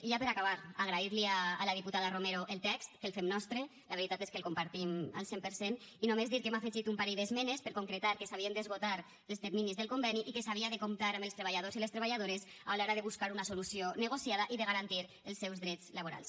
i ja per acabar agrair li a la diputada romero el text que el fem nostre la veritat és que el compartim al cent per cent i només dir que hem afegit un parell d’esmenes per concretar que s’havien d’esgotar els terminis del conveni i que s’havia de comptar amb els treballadors i les treballadores a l’hora de buscar una solució negociada i de garantir els seus drets laborals